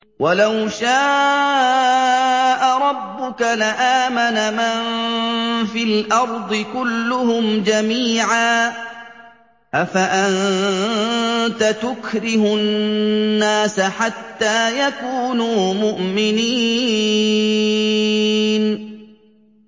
وَلَوْ شَاءَ رَبُّكَ لَآمَنَ مَن فِي الْأَرْضِ كُلُّهُمْ جَمِيعًا ۚ أَفَأَنتَ تُكْرِهُ النَّاسَ حَتَّىٰ يَكُونُوا مُؤْمِنِينَ